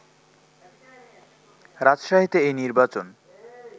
রাজশাহীতে এই নির্বাচন